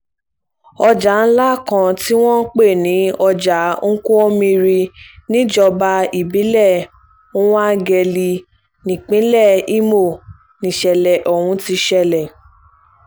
ọjà ńlá kan tí wọ́n ń pè ní ọjà nkwommiri níjọba ìbílẹ̀ nwangele nípínlẹ̀ ìmọ̀ nìṣẹ̀lẹ̀ ọ̀hún ti ṣẹlẹ̀